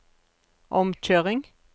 omkjøring